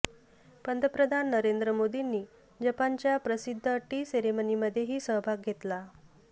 पंतप्रधान नरेंद्र मोदींनी जपानच्या प्रसिद्ध टी सेरेमनीमध्येही सहभाग घेतला